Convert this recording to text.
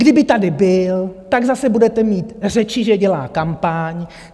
Kdyby tady byl, tak zase budete mít řeči, že dělá kampaň.